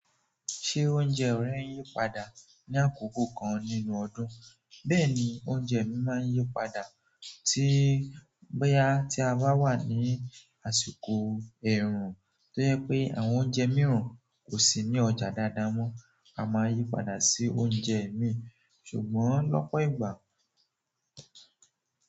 Ṣé oúnjẹ rẹ ń yí padà ní àkókò kan nínú ọdún? Bẹ́ẹ̀ ni, oúnjẹ mi máa ń yí padà tí bóyá tí a bá wà ní àsìkò ẹ̀rùn tó jẹ́ pé àwọn oúnjẹ mìíràn kò sí ní ọjà dáadáa mọ́. A máa yí padà sí oúnjẹ míì, ṣùgbọ́n lọ́pọ̀ ìgbà.